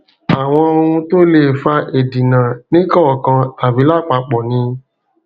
àwọn ohun tó lè fa ìdínà nìkọọkan tàbí lápapọ ni